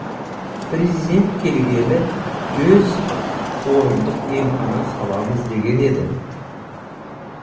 президент келгелі жүз орындық емхана саламыз деген еді